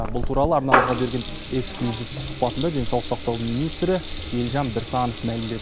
бұл туралы арнамызға берген эксклюзивті сұхбатында денсаулық сақтау министрі елжан біртанов мәлімдеді